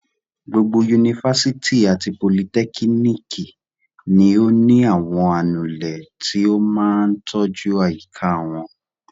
Gbogbo yunifásitì àti politẹ́kíníkì ni ó ní àwọn anulẹ̀ tí ó máa tọ́jú àyíká wọn.